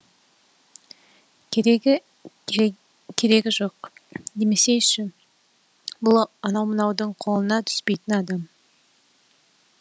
керегі жоқ демесейші бұл анау мынаудың қолына түспейтін адам